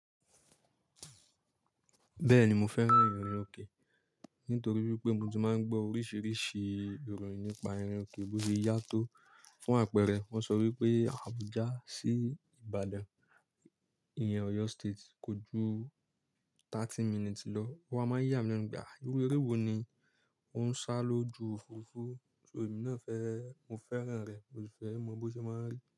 Bẹ́ẹ̀ni mo fẹ́ràn ìrìn òkè, nítorí wípé mo ti máa ń gbọ́ oríṣiríṣi ìròyìn nípa ìrìn òkè, bó ṣe yá tó. Fún àpẹẹrẹ, wón sọ wípé Àbújá sí Ìbàdàn, ìyẹn Oyo State kò ju thirty minutes lọ. Ó wa máa ń yà mí lẹ́n pé àh-àh. Irú eré wo ni ó ń ṣá lóju òfurufú? So èmi náà fẹ́, mo fẹ́ràn rẹ, mo sì fẹ́ mọ bó ṣe máa n rí.